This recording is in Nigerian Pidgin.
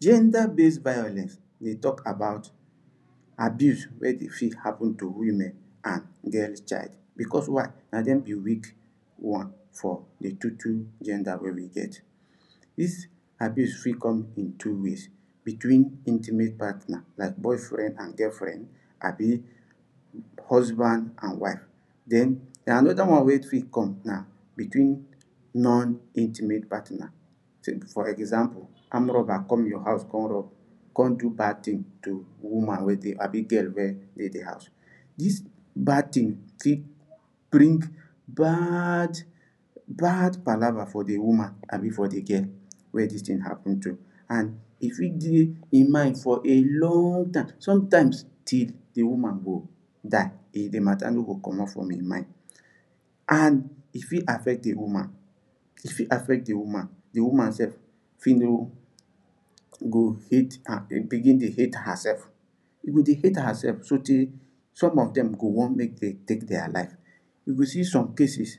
Gender base violence deh talk about abuse weh deh fit happen to woman and girl child because why nah them be week one for the total gender weh we get this abuse fit come in two ways between intimate partner like boyfriend and girlfriend abi husband and wife then another one weh fit come nah betweeen non intimate patner take for example armed robber come your hose comr rob come do bad thing to woman weh deh abi girl weh deh the house this bad thing fit bring bad bad palava for the woman abi for the girl weh thing happen to and e fit be in mind for a long time sometimes till the woman go die di deh matter no go commot for in mind and e fit affect the woman e fit affect the woman the woman sef fit no go fit ah begin deh hate herself e go deh hate herself so teh some of them go want make they take their life you go see some cases